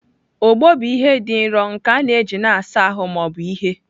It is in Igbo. Ogbọ bụ ihe dị nro nke a na-eji na-asa ahụ ma ọ bụ ihe.